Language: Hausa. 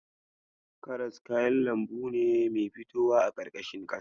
Karas kayan lambu ne mai fitowa a ƙarƙashin ƙasa.